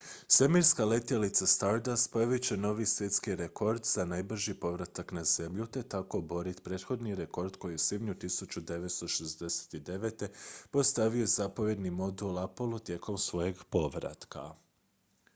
svemirska letjelica stardust postavit će novi svjetski rekord za najbrži povratak na zemlju te tako oboriti prethodni rekord koji je u svibnju 1969. postavio zapovjedni modul apollo tijekom svojeg povratka